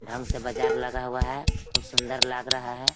ढंग से बाजार लगा हुआ है खूब सुंदर लग रहा है।